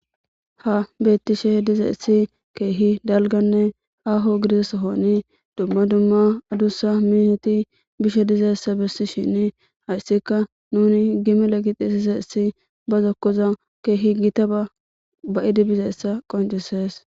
Ha beettishe dizaessi keehi dalganne aho gidizesohoni dumma dumma adussa miheti bishe dizeessa bessi shin hayssika nuni gimela gixisiseessi ba zokkoza keehi gitaba ba7idi bizeessa qoncisees.